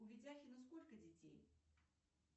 у ведяхина сколько детей